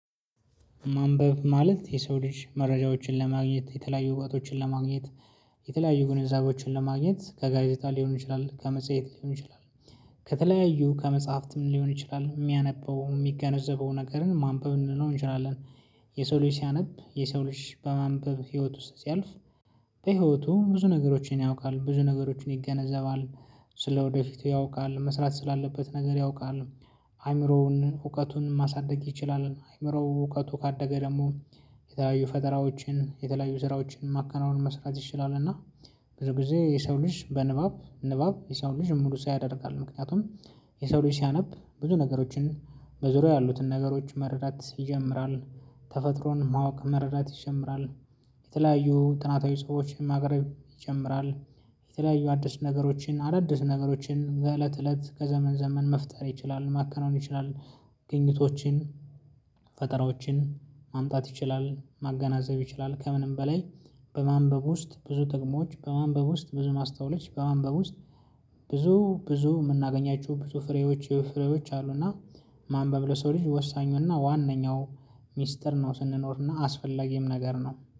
ማንበብ ማለት የሰው ልጅ መረጃዎችን ለማግኘት የተለያዩ እውቀቶችን ለማግኘት የተለያዩ ግንዛቤዎችን ለማግኘት ከጋዜጣ ሊሆን ይችላል ከመጽሐፍ ሊሆን ይችላል ከተለያዩ ከመጽሐፍትም ሊሆን ይችላል የሚያነበው የሚገነዘበው ነገርን ማንበብ ልንለው እንችላለን። የሰው ልጅ ሲያነብ የሰው ልጅ በማንበብ ህይወት ውስጥ ሲያልፍ። በህይወቱ ብዙ ነገሮችን ያውቃል ብዙ ነገሮችን ይገነዘባል። ስለ ወደፊቱ ያውቃል መስራት ስላለበት ነገር ያውቃል። አይምሮውን እውቀቱን ማሳደግ ይችላል አይምሮው እውቀቱ ካደገ ደግሞ። የተለያዩ ፈጠራዎችን የተለያዩ ስራዎችን ማከናወን መስራት ይችላል። እና ብዙ ጊዜ የሰው ልጅ በንባብ ንባብ የሰው ልጅ ሙሉ ሰው ያደርጋል። ምክንያቱም የሰው ልጅ ሲያነብ ብዙ ነገሮችን በዙሪያው ያሉትን ነገሮች መረዳት ይጀምራል። ተፈጥሮን ማወቅ መረዳት ይጀምራል። የተለያዩ ጥናታዊ ሰዎችን ማቅረብ ይጀምራል። የተለያዩ አዲስ ነገሮችን አዳዲስ ነገሮችን በእለት እለት ከዘመን ዘመን መፍጠር ይችላል ማከናወን ይችላል። ግኝቶችን ፈጠራዎችን ማምጣት ይችላል ማገናዘብ ይችላል ከምንም በላይ። በማንበብ ውስጥ ብዙ ጥቅሞች በማንበብ ውስጥ ብዙ ማስታወሎች በማንበብ ውስጥ ብዙ ብዙ የምናገኛቸው ብዙ ፍሬዎች ፍሬዎች አሉ። እና ማንበብ በብለው ሰው ልጅ ወሳኙና ዋናው ሚስጥር ነው። ስንኖርና አስፈላጊም ነገር ነው